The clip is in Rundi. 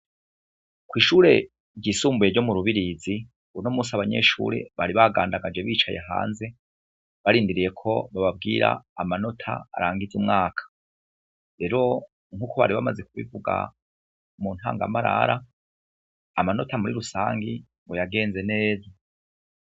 Kw'ishure ryisumbuye ryo mu Rubirizi, uno musi abanyeshure bari bagandagaje bicaye hanze, barindiriye ko bababwira amanota arangiza umwaka, rero nkuko bari bamaze kubivuga mu ntangamarara amanota muri rusangi ngo yageze neza.